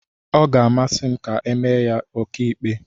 Ọ ga-amasị m ka emee ya onye ọkàikpe.